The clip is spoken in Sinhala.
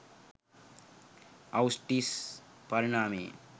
අවුෂ්විට්ස් පරිණාමයේ